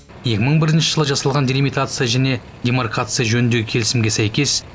екі мың бірінші жылы жасалған делимитация және демаркация жөніндегі келісімге сәйкес